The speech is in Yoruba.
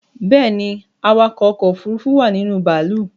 Bẹ́ẹ̀ni, awakọ̀ ọkọ̀ òfurufú wà ninú bàálù